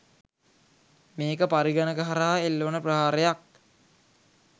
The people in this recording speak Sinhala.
මේක පරිගණක හරහා එල්ල වන ප්‍රහාරයක්.